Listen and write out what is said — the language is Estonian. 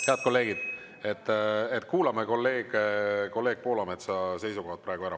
Head kolleegid, kuulame kolleeg Poolametsa seisukohad praegu ära.